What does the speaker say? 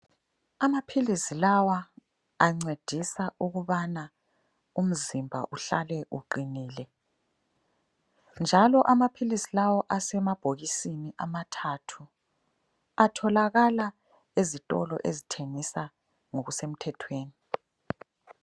Amaphilizi lawa ancedisa ukubana umzimba uhlale uqinile njalo amaphilisi lawa asemabhokisini amathathu, atholakala ezitolo ezithengisa ngokusemthethweni.